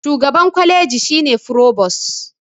shugaban kwaliji shi ne frobos